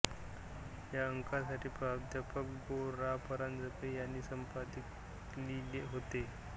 या अंकासाठी प्रा गो रा परांजपे यांनी संपादकीय लिहिले होते